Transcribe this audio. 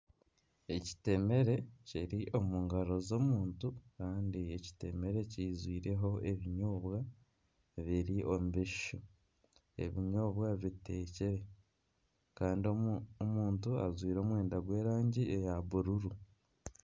Ekitemere kiri omu ngaro z'omuntu Kandi ekitemere kiijwireho ebinyoobwa biri omu bishushu. Ebinyoobwa bitekire kandi omuntu ajwire omwenda gw'erangi ya bururu.